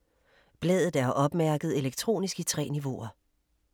Bladet er opmærket elektronisk i 3 niveauer.